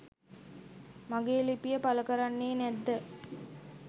මගේ ලිපිය පළ කරන්නේ නැද්ද?